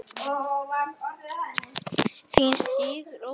Þín systir, Ósk.